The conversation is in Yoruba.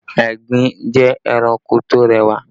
Egbin jẹ́ ẹranko tó rẹwà